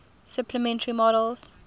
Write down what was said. supplementary models